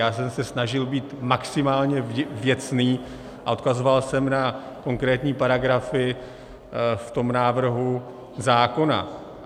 Já jsem se snažil být maximálně věcný a odkazoval jsem na konkrétní paragrafy v tom návrhu zákona.